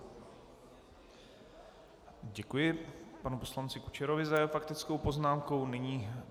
Děkuji panu poslanci Kučerovi za jeho faktickou poznámku.